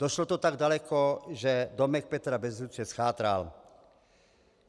Došlo to tak daleko, že domek Petra Bezruče zchátral.